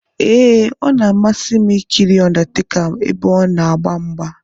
Ee, ọ na-amasị m ikiri undertaker ebe ona agba mgba.